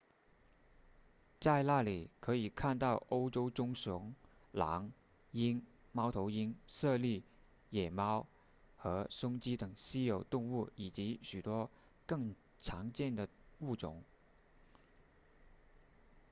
在那里可以看到欧洲棕熊狼鹰猫头鹰猞猁野猫和松鸡等稀有动物以及许多更常见的物种